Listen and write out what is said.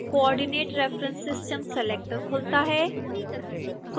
coordinate reference system selector खुलता है